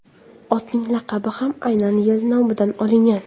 Otning laqabi ham aynan yil nomidan olingan.